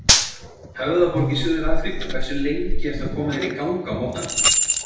Höfðaborg í Suður-Afríku Hversu lengi ertu að koma þér í gang á morgnanna?